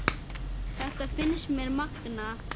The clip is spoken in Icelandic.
Þetta finnst mér magnað.